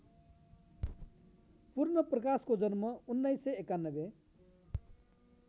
पूर्णप्रकाशको जन्म १९९१